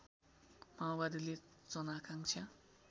माओवादीले जन आकांक्षा